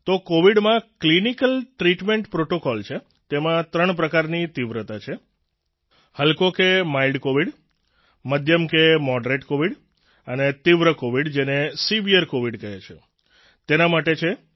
તો કોવિડમાં clinic treatment protocol છે તેમાં ત્રણ પ્રકારની તિવ્રતા છે હલકો કે માઈલ્ડ કોવિડ મધ્યમ કે મોડરેટ કોવિડ અને તીવ્ર કોવિડ જેને સિવિયર કોવિડ કહે છે તેના માટે છે